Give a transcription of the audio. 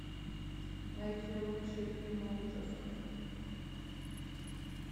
найти лучшие фильмы ужасов